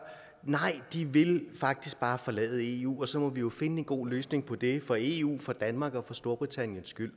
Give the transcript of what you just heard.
nej de vil faktisk bare forlade eu og så må vi jo finde en god løsning på det for eu for danmark og for storbritanniens skyld